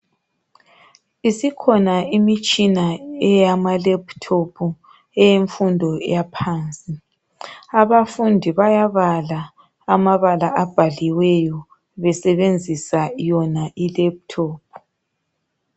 Isikhona imitshina eyamaLaptop eyemfundo eyaphansi abafundi bayabala amabala abhaliweyo basebenzisa iyona iLaptop